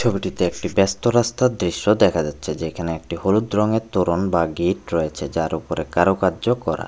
ছবিটিতে একটি ব্যস্ত রাস্তার দৃশ্য দেখা যাচ্ছে যেখানে একটি হলুদ রঙের তরুন বা গেট রয়েছে যার উপরে কারুকার্য করা।